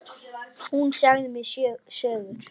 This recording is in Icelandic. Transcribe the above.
Hún sagði mér sögur.